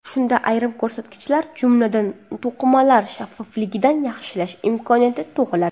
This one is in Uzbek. Shunda ayrim ko‘rsatkichlar, jumladan, to‘qimalar shaffofligini yaxshilash imkonyati tug‘iladi.